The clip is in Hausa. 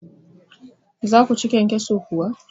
za ku ci kyankyaso kuwa?